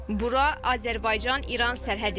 Bura Azərbaycan-İran sərhəddidir.